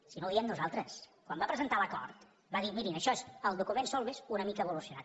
si no ho diem nosaltres quan va presentar l’acord va dir mirin això és el document solbes una mica evolucionat